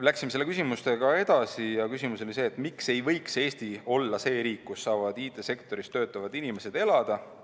Läksime küsimustega edasi ja küsimus oli see, miks ei võiks Eesti olla see riik, kus saavad IT‑sektoris töötavad inimesed elada.